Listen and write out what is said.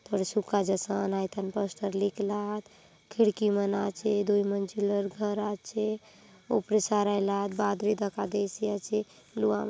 थोड़े सुका जसन हय थाने बस्तर लिखला आत खिड़की मन आचे दुई मंजिलर घरा आचे ऊपरे सराय ला आत बादरी दखा देईसी आचे लुआं--